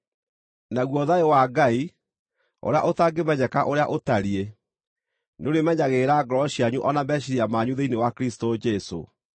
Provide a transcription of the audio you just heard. Naguo thayũ wa Ngai, ũrĩa ũtangĩmenyeka ũrĩa ũtariĩ, nĩũrĩmenyagĩrĩra ngoro cianyu o na meciiria manyu thĩinĩ wa Kristũ Jesũ.